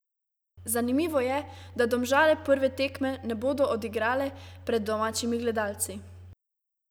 Zanimivo je, da Domžale prve tekme ne bodo odigrale pred domačimi gledalci.